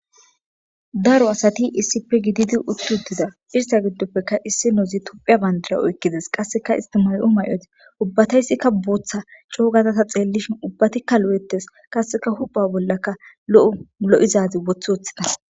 daro asati issipe gididi utti huttida irsa giddoppeka issinozi tophiya bandira oykkides qasseka istimar7o may7ozi ubbatayssikka booththa coogatata xeellishin ubbatikka lo7ettes qasseka hupa bollakka lo7u lo7izazi woth woththida